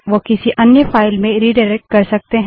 वो किसी अन्य फाइल में रिडाइरेक्ट कर सकते हैं